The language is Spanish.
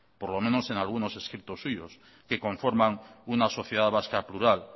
por lo menos en algunos escritos suyos que conforman una sociedad vasca plural